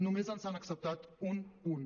només ens han acceptat un punt